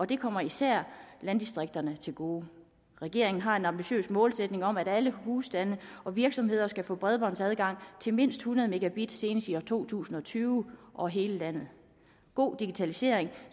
det kommer især landdistrikterne til gode regeringen har en ambitiøs målsætning om at alle husstande og virksomheder skal få bredbåndsadgang til mindst hundrede megabit senest i år to tusind og tyve over hele landet god digitalisering